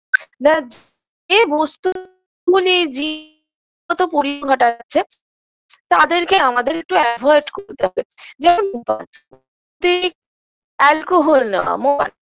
এ বস্তুগুলি জিনগত ঘটাচ্ছে তাদেরকে আমাদের একটু avoid করতে হবে যেমন alcohol না মদ